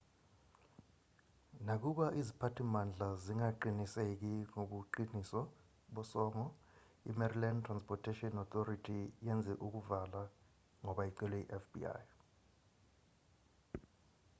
nakuba iziphathimandla zingaqiniseki ngobuqiniso bosongo imaryland transportation authority yenze ukuvala ngoba icelwe yifbi